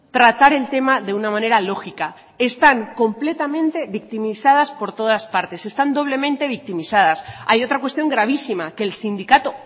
tratar el tema de una manera lógica están completamente victimizadas por todas partes están doblemente victimizadas hay otra cuestión gravísima que el sindicato